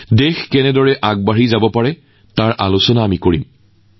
বন্ধুসকল কাইলৈ ২৯জানুৱাৰীৰ পুৱা ১১ বজাত আমাৰ পৰীক্ষা পে চৰ্চা কাৰ্যসূচীও অনুষ্ঠিত হব